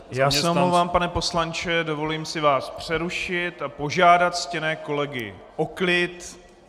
Já se omlouvám, pane poslanče, dovolím si vás přerušit a požádat ctěné kolegy o klid.